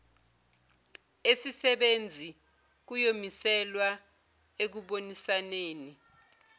esisebenzi kuyomiselwa ekubonisaneni